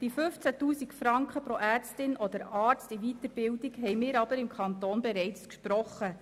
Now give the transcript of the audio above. Die 15 000 Franken pro Ärztin oder Arzt in der Weiterbildung haben wir im Kanton aber bereits gesprochen.